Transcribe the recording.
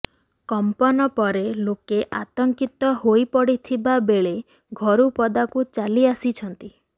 କମ୍ପନ ପରେ ଲୋକେ ଆତଙ୍କିତ ହୋଇପଡିଥିବା ବେଳେ ଘରୁ ପଦାକୁ ଚାଲିଆସିଛନ୍ତି